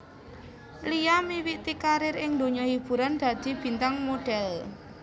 Lia miwiti karir ing donya hiburan dadi bintang modhèl